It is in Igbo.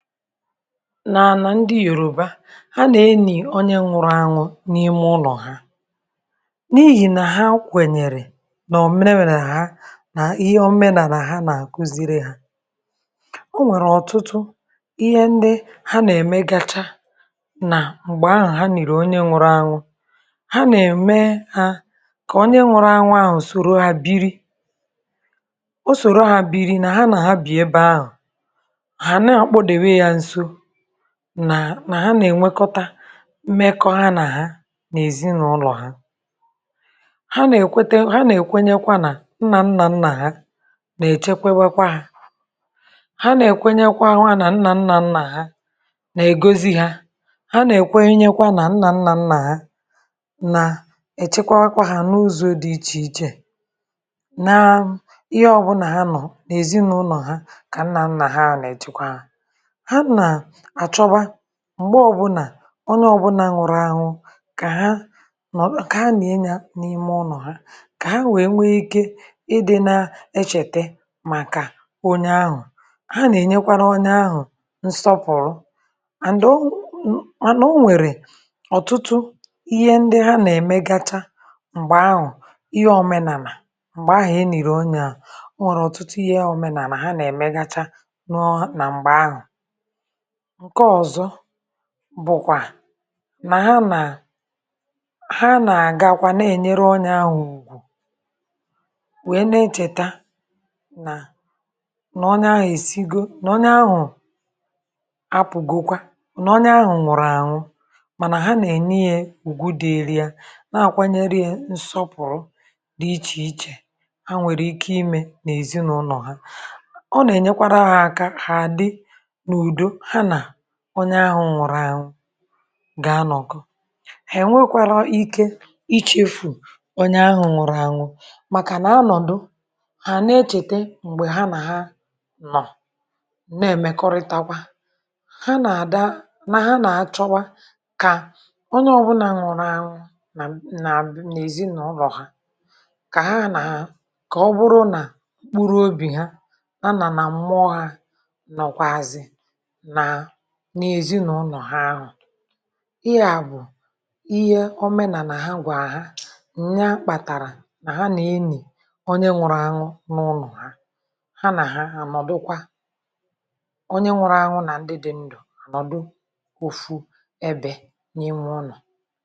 Nà ànà ndị Yòrùbà, ha nà-enì onye nwụrụ anwụ n’ime ụlọ ha n’ihì nà ha kwènyèrè nà òmenelà ha nà ihe òmenàlà ha nà àkụziri ha. Ọ nwèrè ọ̀tụtụ ihe ndị ha nà-ème gacha nà m̀gbè ahụ ha nịrị onye nwụrụ anwụ, ha nà-ème ha kà onye nwụrụ anwụ ahụ̀ soro ha biri; o soro ha biri nà ha nà ha bì ebe ahụ, ha na-akpụdebe ya nso, nà na ya na-ènwekọta mmekọ ha nà hà n'èzìnlọ̀ ha. Ha nà-èkwètẹ, ha nà-èkwenyekwa nà nnà nnà nnà ha nà-èchekwebe kwa ha; ha nà-èkwenyekwa ahụ̀ nà nnà nnà nnà nna ha nà ègozi ha. Ha nà èkwenyekwa nà nnà nnà nnà nnà nà-èchekwebe kwa ha n’ụzọ dị ichè ichè nà ihe ọbụla ha nọ̀ nà-èzìnlọ̀ ha kà nnà nnà ha na-èchekwe ha. Ha na-achọba m̀gbè ọbụna onye ọbụna nwụrụ awụ kà ha, o, kà ha nie yà n’ime ụnọ̀ ha kà ha wèe nwee ike ịdị na-echète màkà onye ahụ, ha na-enyekwara onye ahu nsopuru and o manȧ o nwèrè ọ̀tụtụ ihe ndị ha na-èmegacha m̀gbè ahụ, ihe ọmenàlà m̀gbè ahụ enìrì onye ahụ, o nwèrè ọ̀tụtụ ihe ọ̀menàlà ha na-èmegacha nụọ na m̀gbè ahụ. Nke ọzọ bùkwà nà ha nà ha nà-àga kwa na-ènyere onye ahụ ùgwù wèe na-echèta nà, nà onye ahụ èsigo, nà onye ahụ apụ̀gokwa, nà onye ahụ nwụ̀rụ̀ àhụ mànà ha nà-ènyee ùgwù dịịrị ya, na-àkwanyere e nsọpụ̀rụ dị ichè ichè. Ha nwèrè ike imè nà-èzìnulọ̀ ha, ọ na-enyekwaru ha aka ha dị n'ụdọ̀ ha na onye ahụ ǹwụrụ ànwụ gà-anọ̀kọ ènwekwarọ̀ ike ichefù onye ahụ ǹwụrụ ànwụ màkà nà-anọ̀dụ ha na-echète, mgbè ha nà ha nọ̀ na-èmekọrịtakwa, ha nà-àda nà ha nà-àchọwa kà onye ọ̀bụna ǹwụ̀rụ ànwụ nà nà nà èzìnụlọ̀ ha kà ha nà ha kà ọ bụrụ nà mkpùrụ obì ha ha nà nà mmụọ hă nọ̀kwàazì na n’èzìnụlọ̀ ha ahụ. Ihe à bụ ihe omenàlà ha gwà ha, ǹnyà kpàtàrà nà ha nà-enì onye nwụrụ anwụ n’ụnọ̀ ha. Ha nà ha ànọ̀dụkwa onye nwụrụ anwụ nà ndị dị ndụ ànọ̀dụ ofu ebè n’imù ụnọ̀.